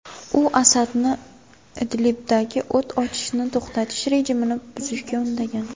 U Asadni Idlibdagi o‘t ochishni to‘xtatish rejimini buzishga undagan.